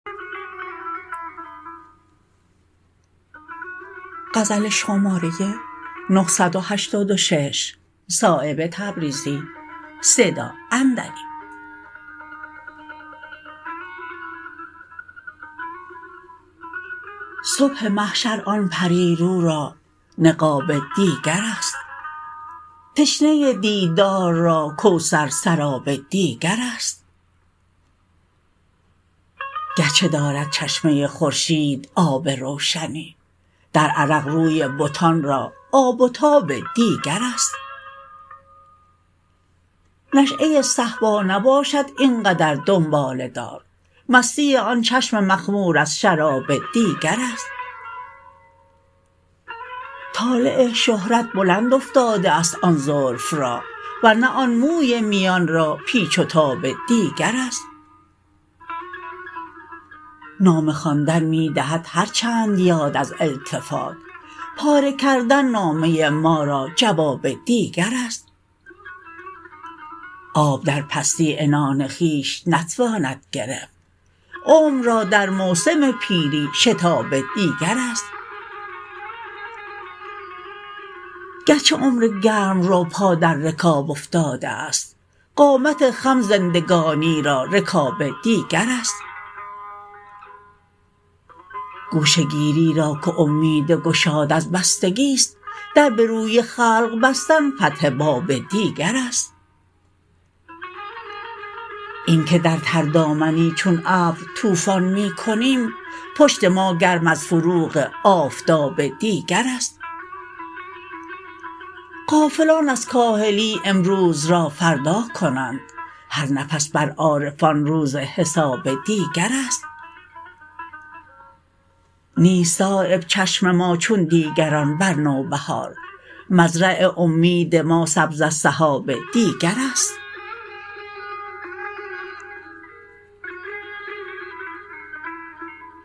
صبح محشر آن پریرو را نقاب دیگرست تشنه دیدار را کوثر سراب دیگرست گرچه دارد چشمه خورشید آب روشنی در عرق روی بتان را آب و تاب دیگرست نشأه صهبا نباشد اینقدر دنباله دار مستی آن چشم مخمور از شراب دیگرست طالع شهرت بلند افتاده است آن زلف را ورنه آن موی میان را پیچ و تاب دیگرست نامه خواندن می دهد هر چند یاد از التفات پاره کردن نامه ما را جواب دیگرست آب در پستی عنان خویش نتواند گرفت عمر را در موسم پیری شتاب دیگرست گرچه عمر گرمرو پا در رکاب افتاده است قامت خم زندگانی را رکاب دیگرست گوشه گیری را که امید گشاد از بستگی است در به روی خلق بستن فتح باب دیگرست این که در تر دامنی چون ابر طوفان می کنیم پشت ما گرم از فروغ آفتاب دیگرست غافلان از کاهلی امروز را فردا کنند هر نفس بر عارفان روز حساب دیگرست نیست صایب چشم ما چون دیگران بر نوبهار مزرع امید ما سبز از سحاب دیگرست